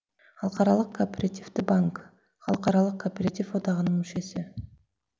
халықаралық кооперативті банкі халықаралық кооператив одағының мүшесі